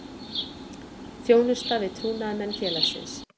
Þjónusta við trúnaðarmenn félagsins.